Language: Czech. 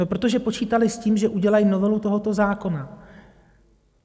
No protože počítali s tím, že udělají novelu tohoto zákona.